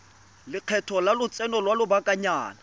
lekgetho la lotseno lwa lobakanyana